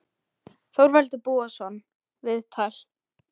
Þorvaldur Búason, viðtal